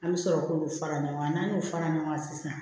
An bɛ sɔrɔ k'u fara ɲɔgɔn kan n'an y'o fara ɲɔgɔn kan sisan